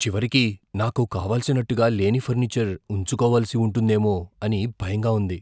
చివరికి నాకు కావలసినట్టుగా లేని ఫర్నిచర్ ఉంచుకోవలసి ఉంటుందేమో అని భయంగా ఉంది.